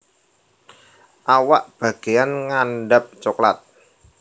Awak bageyan ngandhap coklat